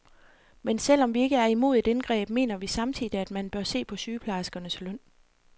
Men selv om vi ikke er imod et indgreb, mener vi samtidig, at man bør se på sygeplejerskernes løn.